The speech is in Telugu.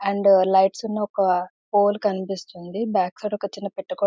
అండ్ లైట్ ఉన్న ఒక పోల్ కనిపిస్తుంది బ్యాక్ సైడ్ ఒక చిన్న గోడ --